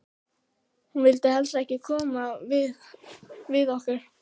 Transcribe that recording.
Hún vildi helst ekki koma við okkur.